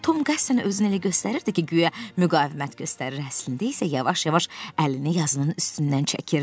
Tom qəsdən özünü elə göstərirdi ki, guya müqavimət göstərir, əslində isə yavaş-yavaş əlini yazının üstündən çəkirdi.